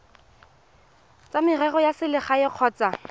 tsa merero ya selegae kgotsa